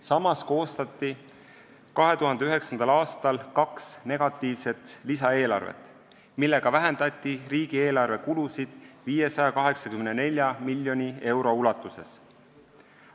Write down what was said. Samas koostati 2009. aastal kaks negatiivset lisaeelarvet, millega vähendati riigieelarve kulusid 584 miljoni euro ulatuses.